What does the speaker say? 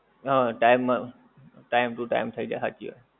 હા time મા time to time થઈ જાય હાચ્ચી વાત